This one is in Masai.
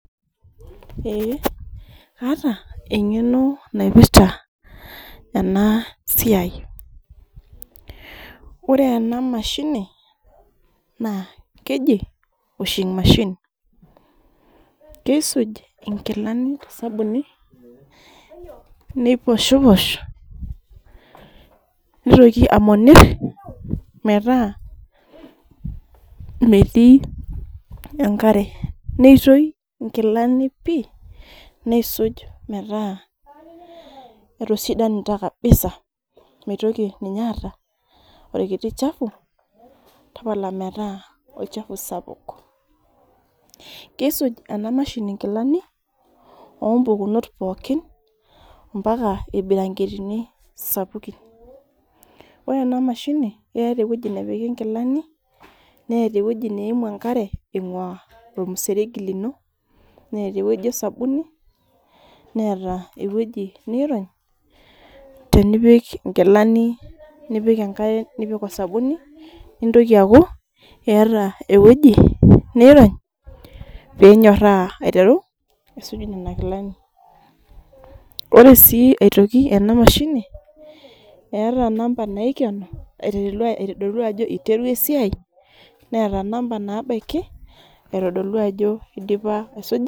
Eeh aata engeno naipirta ena siai ,ore ena mashini naa keji washing machine. Keissij inkilani tosabuni, neiposhiposh ,nitoki amonir metaa metii enkare neitoi inkilani neisuji metaa etisidanita kabisa meeta mitoki ninye aata orkiti chafu tapala metaa olachafu sapuk. Keisuj ena mashini nkilani oompukunot pookin mpaka irbiranketini sapukin. Ore ena mashini ,keeta eweji nepiki nkilani ,neeta eweji neimu enkare aingua ormseregi lino ,neeta eweji osabuni ,neeta eweji neironynkilani tenipik enkare nipik osabuni ,nitoki aaku eeta eweji niroj pee enyorata aiteru aisuj nena kilani .Ore sii aitoki ena mashinini eeta number naikenu aitodolu ajo eireu esiai neeta number nabaiki aitodolu ajo eidipa isujita nkilani.